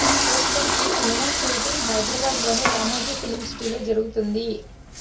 ప్రస్తుతం ఈ cinema shooting Hyderabad లోని రామోజీ ఫిల్మ్ సిటీలో జరుగుతోంది